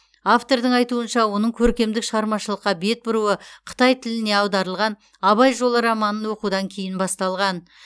автордың айтуынша оның көркемдік шығармашылыққа бет бұруы қытай тіліне аударылған абай жолы романын оқудан кейін басталған